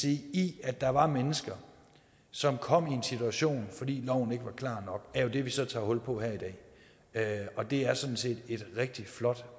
i at der var mennesker som kom i en situation fordi loven ikke var klar nok er jo det vi så tager hul på her i dag og det er sådan set et rigtig flot